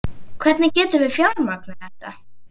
Hvernig getum við fjármagnað þetta?